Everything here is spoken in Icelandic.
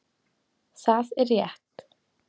Það er rétt